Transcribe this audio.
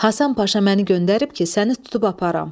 Həsən Paşa məni göndərib ki, səni tutub aparım.